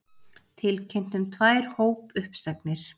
Tilkynnt um tvær hópuppsagnir